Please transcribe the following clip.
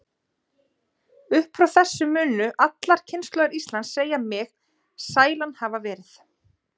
Upp frá þessu munu allar kynslóðir Íslands segja mig sælan hafa verið.